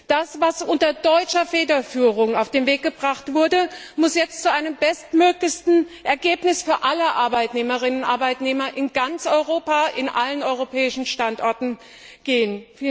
Das, was unter deutscher Federführung auf den Weg gebracht wurde, muss jetzt zu einem bestmöglichen Ergebnis für alle Arbeitnehmerinnen und Arbeitnehmer in ganz Europa, an allen europäischen Standorten führen.